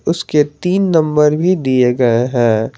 उसके तीन ऩंबर भी दिये गए है।